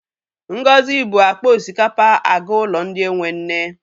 Ngozi bu akpa osikapa aga ụlọ ndị enwe nne.